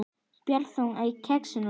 Barþjónn á Kexinu?